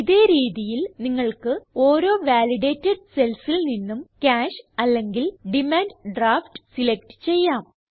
ഇതേ രീതിയിൽ നിങ്ങൾക്ക് ഓരോ വാലിഡേറ്റഡ് cellൽ നിന്നും കാഷ് അല്ലെങ്കിൽ ഡിമാൻഡ് ഡ്രാഫ്റ്റ് സിലക്റ്റ് ചെയ്യാം